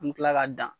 An bɛ tila ka dan